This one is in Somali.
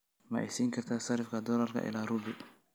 ma isiin kartaa sarifka doolarka ilaa rubi?